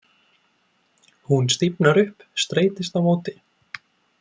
Hún stífnar upp, streitist á móti.